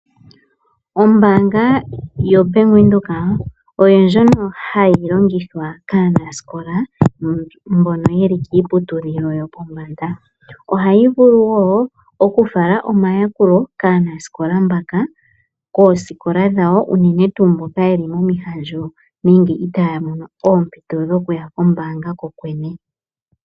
Ombaanga yoBank Windhoek oyo ndjono hayi longithwa kaanasikola mbono yeli kiiputudhilo yopombanda. Ohayi vulu wo okufala omayakulo kaanasikola mbaka koosikola dhawo, unene tuu mboka yeli momihandjo nenge itaaya mono oompito dhokuya kombaanga ko kwene.